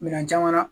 Minɛn caman na